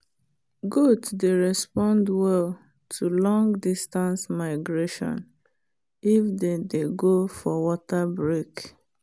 goat dey respond well to long distance migration if they dey go for water break